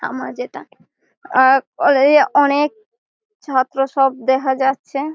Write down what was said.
আমার যেটা আ কলেজ এ অনেক ছাত্র সব দেখা যাচ্ছে।